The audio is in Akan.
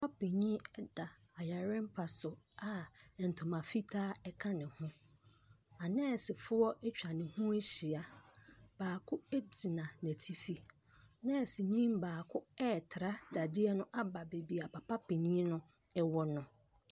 Papa panin da yarempa so a ntoma fitaa ka ne ho. Aneesefoɔ atwa ne ho ahyia. Baako gyina n'atifi. Nɛɛseni baako retra dadeɛ no aba baabi a papa panin no wɔ no.